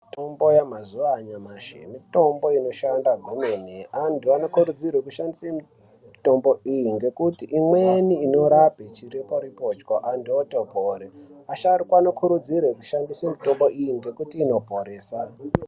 Mitombo yamazuwa anyamashi mitombo inoshanda kwemene antu anokurudzirwa kushandisa mitombo iyi ngekuti imweni inorapa chiripo ripocho antu otopona asharukwa anokurudzirwa kushandisa mutombo iyi nekuti inoporesa.